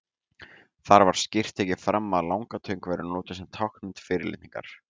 Þar var skýrt tekið fram að langatöng væri notuð sem táknmynd fyrirlitningar.